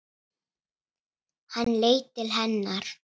Hann leit til hennar.